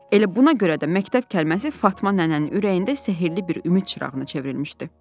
Elə buna görə də məktəb kəlməsi Fatma nənənin ürəyində sehirli bir ümid çırağına çevrilmişdi.